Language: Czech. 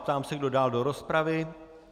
Ptám se, kdo dál do rozpravy.